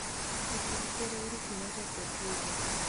e kind Ker Ouru Kenyatta kod Ruto,